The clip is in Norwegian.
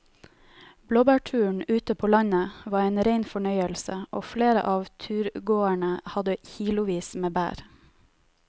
Blåbærturen ute på landet var en rein fornøyelse og flere av turgåerene hadde kilosvis med bær.